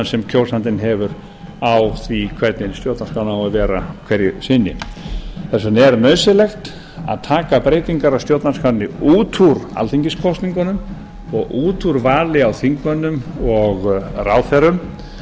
sem kjósandinn hefur á því hvernig stjórnarskráin á að vera hverju sinni þess vegna er nauðsynlegt að taka breytingar á stjórnarskránni út úr alþingiskosningunum og út úr vali á þingmönnum og ráðherrum yfir